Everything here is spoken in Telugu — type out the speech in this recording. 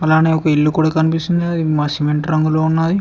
అలానే ఒక ఇల్లు కూడా కనిపిస్తుంది అది సిమెంట్ రంగులో ఉన్నది.